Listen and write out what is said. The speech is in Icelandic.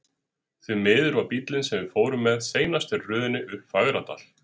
Því miður var bíllinn, sem við fórum með, seinastur í röðinni upp Fagradal.